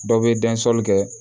Dɔw bɛ kɛ